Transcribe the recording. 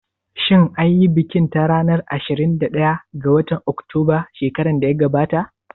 Shin anyi bikin ta ranar ashirin da ɗaya ga watan Oktoba shekaran da ya gabata?